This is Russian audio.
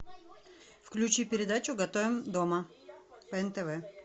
включи передачу готовим дома по нтв